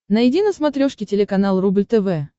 найди на смотрешке телеканал рубль тв